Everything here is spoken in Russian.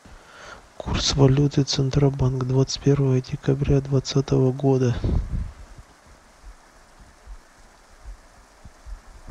курс валюты центробанк двадцать первое декабря двадцатого года